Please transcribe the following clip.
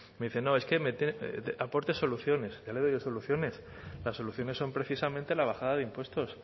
me dice no es que me tiene aporte soluciones ya le doy yo soluciones las soluciones son precisamente la bajada de impuestos